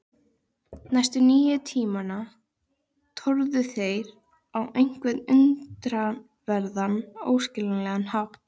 Næstu níu tímana tórðu þeir á einhvern undraverðan, óskiljanlegan hátt.